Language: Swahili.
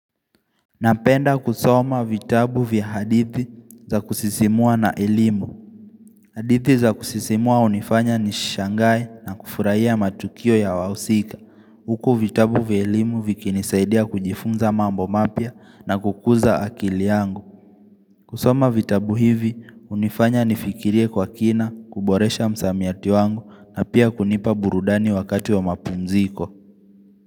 Napenda kusoma vitabu vya hadithi za kusisimua na elimu hadithi za kusisimua hunifanya nishangae na kufurahia matukio ya wahusika Huku vitabu vya elimu vikinisaidia kujifunza mambo mapya na kukuza akili yangu kusoma vitabu hivi hunifanya nifikirie kwa kina kuboresha msamiati wangu na pia kunipa burudani wakati wa mapumziko.